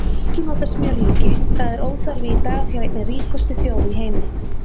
Ekki nota smjörlíki, það er óþarfi í dag hjá einni ríkustu þjóð í heimi!